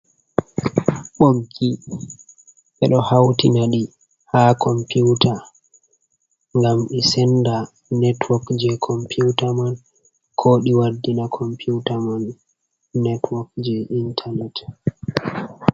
Ɓoggi ɓe ɗo hautina ɗi ha computa ngam ɗi senda network je computa man, ko ɗi waddina computa man network je intranet.